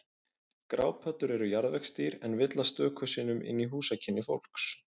Grápöddur eru jarðvegsdýr en villast stöku sinnum inn í húsakynni fólks.